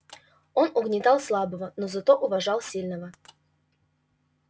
он угнетал слабого но зато уважал сильного